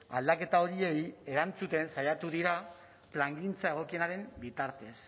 aldaketa horiei erantzuten saiatu dira plangintza egokienaren bitartez